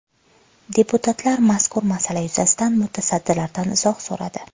Deputatlar mazkur masala yuzasidan mutasaddilardan izoh so‘radi.